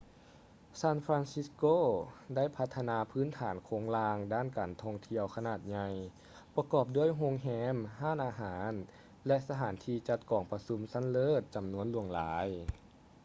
ຊານຟຼານຊິດສ໌ໂກ ໄດ້ພັດທະນາພື້ນຖານໂຄງລ່າງດ້ານການທ່ອງທ່ຽວຂະໜາດໃຫຍ່ ປະກອບດ້ວຍໂຮງແຮມ ຮ້ານອາຫານ ແລະ ສະຖານທີ່ຈັດກອງປະຊຸມຊັ້ນເລີດ ຈຳນວນຫຼວງຫຼາຍ